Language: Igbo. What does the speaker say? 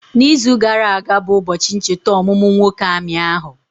Na izu gara aga bụ ụbọchị ncheta ọmụmụ nwoke amị ahụ